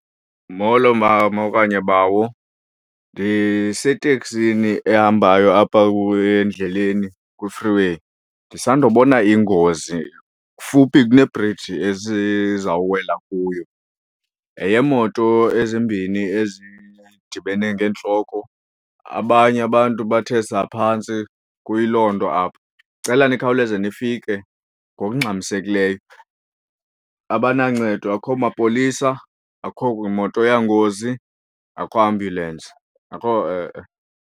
Molo mama okanye bawo ndiseteksini ehambayo apha endleleni ku-free way. Ndisandobona ingozi fuphi kune-bridge esizawuwela kuyo, yeyeemoto ezimbini ezidibene ngeentloko abanye abantu bathe saa phantsi kuyiloo nto apha. Ndicela nikhawuleze nifike ngokungxamisekileyo abanancedo, akho mapolisa, akho moto yangozi, akho ambyulensi, akho e-e.